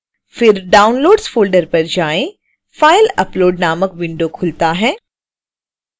फिर downloads folder पर जाएँ file upload नामक विंडो खुलता है